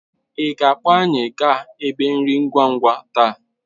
Ị ga-akpọ anyị gaa ebe nri ngwa ngwa taa?